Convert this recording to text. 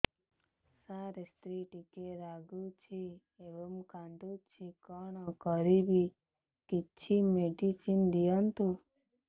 ସାର ସ୍ତ୍ରୀ ଟିକେ ରାଗୁଛି ଏବଂ କାନ୍ଦୁଛି କଣ କରିବି କିଛି ମେଡିସିନ ଦିଅନ୍ତୁ